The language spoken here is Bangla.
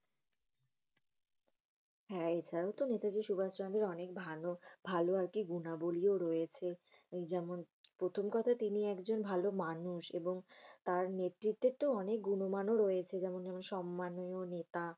হ্যাঁ। এছাড়াও তো নেতাজী সুভাষ চন্দ্রের অনেক ভালো ভালো আর কি গুণাবলিও রয়েছে। এই যেমন প্রথম কথা, তিনি একজন ভালো মানুষ। এবং তার নেতৃতে অনেক গুণমান ও রয়েছে। যেমন দরো সম্মানীয় নেতা।